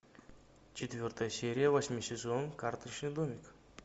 четвертая серия восьмой сезон карточный домик